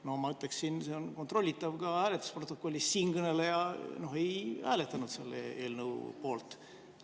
No ma ütleksin – see on hääletusprotokollist kontrollitav –, et siinkõneleja ei hääletanud selle eelnõu poolt.